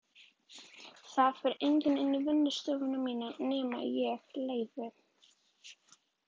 Það fer enginn inn í vinnustofuna mína nema ég leyfi.